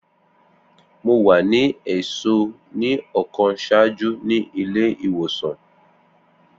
Mo wa ni ẹṣọ ni ọkan ṣaaju ni ile-iwosan.